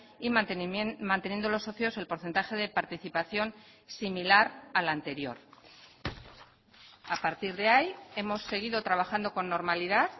y manteniendo los socios el porcentaje de participación similar a la anterior a partir de ahí hemos seguido trabajando con normalidad